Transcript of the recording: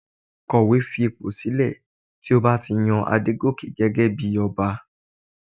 Kọ̀wé fi ipò sílẹ̀ tí a bá ti yan Adegoke gẹ́gẹ́ bí Ọba